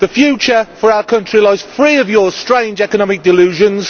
The future for our country lies free of your strange economic delusions